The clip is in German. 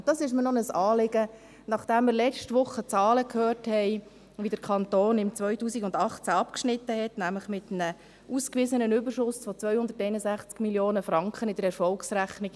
Und das ist mir noch ein Anliegen, nachdem wir letzte Woche die Zahlen gehört haben, wie der Kanton im Jahr 2018 abgeschnitten hat, nämlich mit einem ausgewiesenen Überschuss von 261 Mio. Franken in der Erfolgsrechnung: